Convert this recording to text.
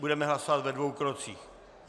Budeme hlasovat ve dvou krocích.